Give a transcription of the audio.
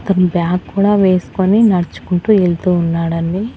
అతని బ్యాగ్ కూడా వేసుకొని నడుచుకుంటూ ఎళ్తూ ఉన్నాడండి.